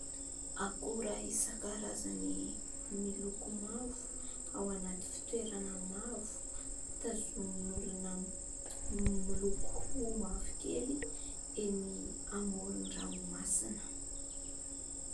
Akora isankarazany miloko mavo ao anaty fitoerana mavo, tazomin'olona miloko mavokely eny amoron-dranomasina.